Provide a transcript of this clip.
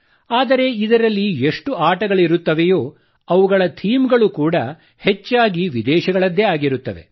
ಆದರೆ ಇದರಲ್ಲಿ ಎಷ್ಟು ಆಟಗಳಿರುತ್ತವೆಯೋ ಅವುಗಳ ಥೀಮ್ ಗಳು ಕೂಡಾ ಹೆಚ್ಚಾಗಿ ವಿದೇಶಗಳದ್ದೇ ಆಗಿರುತ್ತವೆ